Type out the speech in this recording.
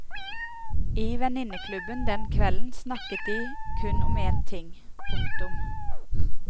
I venninneklubben den kvelden snakket de kun om én ting. punktum